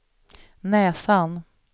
näsan